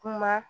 Kuma